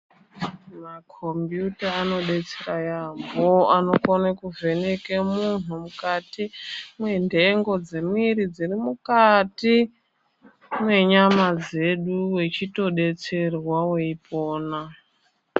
Makhombiyuta anodetsera yaampho ,anokone kuvheneke muntu ,mukati mwenhengo dzemwiiri dziri mukati mwenyama dzedu wechitodetserwa ,weipona.